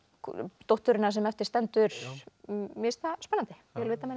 dótturina sem eftir stendur mér finnst það spennandi það